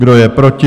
Kdo je proti?